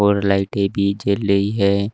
और लाइटें भी जल रही हैं।